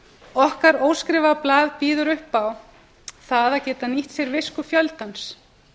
okkar óskrifaða blað býður upp á það að geta nýtt sér visku fjöldans